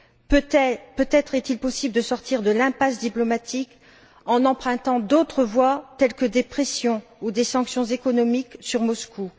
Peut être est il possible de sortir de l'impasse diplomatique en empruntant d'autres voies telles que des pressions ou des sanctions économiques sur Moscou.